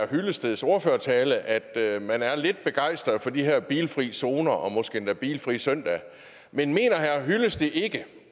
hyllesteds ordførertale at man er lidt begejstret for de her bilfrie zoner og måske endda bilfrie søndage men mener herre henning hyllested ikke